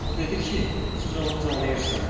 O dedi ki, siz onu tanıyırsınız.